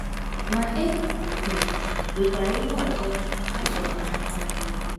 Ma, e e um nwekwara ihe ọzọ a chọrọ n’aka anyị.